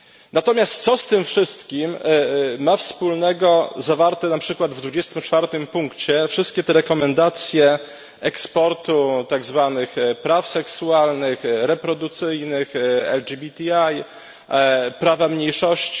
Natomiast, co z tym wszystkim mają wspólnego zawarte na przykład w 24 punkcie wszystkie te rekomendacje eksportu tak zwanych praw seksualnych, reprodukcyjnych, LGBTI, prawa mniejszości.